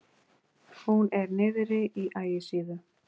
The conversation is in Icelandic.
Hún er niðri á Ægisíðu.